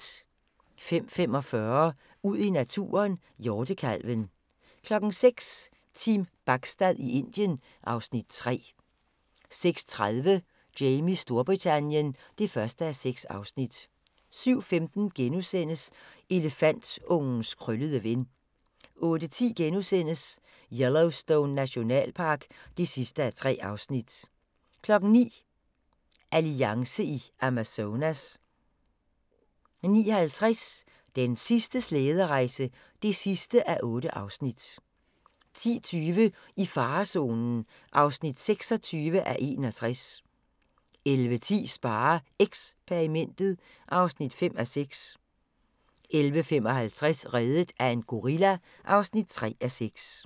05:45: Ud i naturen: Hjortekalven 06:00: Team Bachstad i Indien (Afs. 3) 06:30: Jamies Storbritannien (1:6) 07:15: Elefantungens krøllede ven * 08:10: Yellowstone Nationalpark (3:3)* 09:00: Alliance i Amazonas 09:50: Den sidste slæderejse (8:8) 10:20: I farezonen (26:61) 11:10: SpareXperimentet (5:6) 11:55: Reddet af en gorilla (3:6)